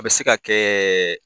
A bɛ se ka kɛ